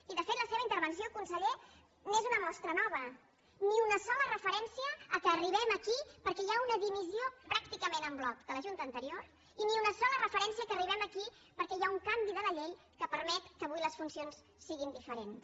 i de fet la seva intervenció conseller n’és una mostra nova ni una sola referència al fet que arribem aquí perquè hi ha una dimissió pràcticament en bloc de la junta anterior i ni una sola referència que arri·bem aquí perquè hi ha un canvi de la llei que permet que avui les funcions siguin diferents